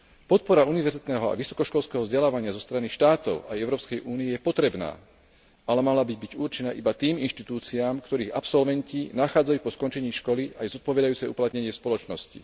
Podpora univerzitného a vysokoškolského vzdelávania zo strany štátov aj Európskej únie je potrebná, ale mala by byť určená iba tým inštitúciám, ktorých absolventi nachádzajú po skončení školy aj zodpovedajúce uplatnenie v spoločnosti.